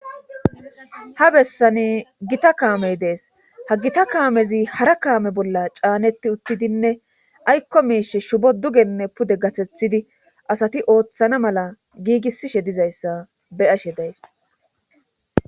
Ha bessani gita kaamey dees ha gita kaamezi hara kaame bolla caaneti uttidinne aykko miishe shubo dugenne pude gathethidi asati ooththana mala giigisishe dizayssa be7ashe days.